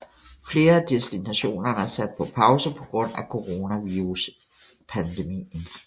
Flere af destinationerne er sat på pause på grund af Coronaviruspandemien